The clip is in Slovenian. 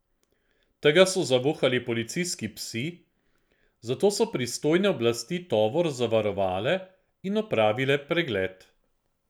Tega so zavohali policijski psi, zato so pristojne oblasti tovor zavarovale in opravile pregled.